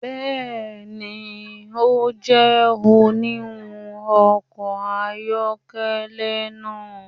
Bẹẹni, o jẹ oniwun ọkọ ayọkẹlẹ naa